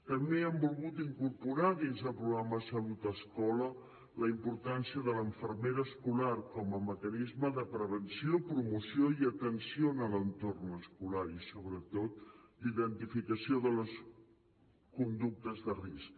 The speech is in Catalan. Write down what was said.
també hem volgut incorporar dins del programa salut escola la importància de la infermera escolar com a mecanisme de prevenció promoció i atenció en l’entorn escolar i sobretot d’identificació de les conductes de risc